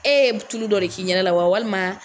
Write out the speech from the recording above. Ee tulu dɔ de k'i ɲɛda la wa walima